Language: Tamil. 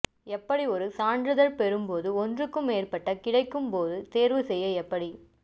எப்படி ஒரு சான்றிதழ் பெறும் போது ஒன்றுக்கு மேற்பட்ட கிடைக்கும் போது தேர்வு செய்ய எப்படி